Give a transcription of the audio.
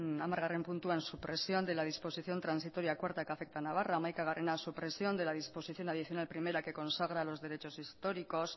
hamar puntua supresión de la disposición transitoria cuarta que afecta a navarra oncea supresión de la disposición adicional primera que consagra los derechos históricos